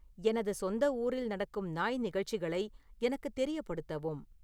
எனது சொந்த ஊரில் நடக்கும் நாய் நிகழ்ச்சிகளை எனக்கு தெரியப்படுத்தவும்